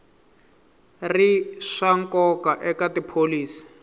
ri swa nkoka eka tipholisi